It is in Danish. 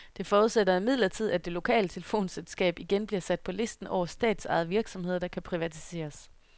Det forudsætter imidlertid, at det lokale telefonselskab igen bliver sat på listen over statsejede virksomheder, der kan privatiseres.